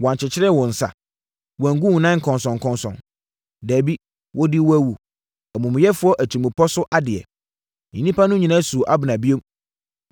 Wɔankyekyere wo nsa; wɔangu wo nan nkɔnsɔnkɔnsɔn. Dabi, wɔdii wo awu; amumuyɛfoɔ atirimpɔ so adeɛ.” Nnipa no nyinaa suu Abner bio.